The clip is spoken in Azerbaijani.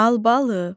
Albalı.